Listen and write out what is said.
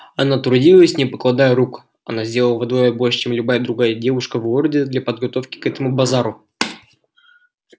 она трудилась не покладая рук она сделала вдвое больше чем любая другая девушка в городе для подготовки к этому базару